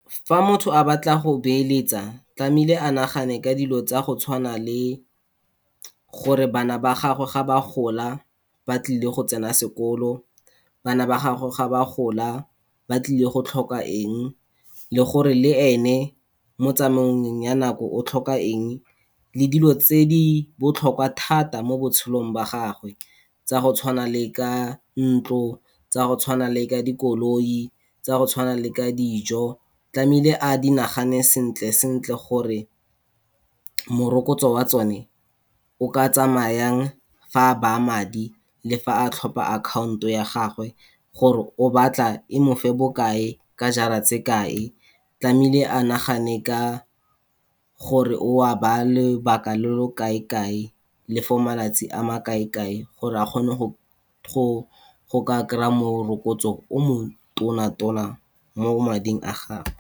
Fa motho a batla go beeletsa, tlamehile a nagane ka dilo tsa go tshwana le gore bana ba gagwe ga ba gola, ba tlile go tsena sekolo. Bana ba gagwe ga ba gola, ba tlile go tlhoka eng le gore le ene mo tsamaong ya nako, o tlhoka eng le dilo tse di botlhokwa thata mo botshelong ba gagwe, tsa go tshwana le ka ntlo, tsa go tshwana le ka dikoloi, tsa go tshwana le ka dijo, tlamehile a di nagane sentle sentle gore, morokotso wa tsone o ka tsamaya yang, fa a baya madi le fa a tlhopha account-o ya gagwe, gore o batla e mo fe bokae ka jara tse kae, tlamehile a nagane ka gore o a ba lobaka lo lo kae kae, le for malatsi a ma kae kae, gore a kgone go ka kry-a morokotso o mo tona tona mo mading a gagwe.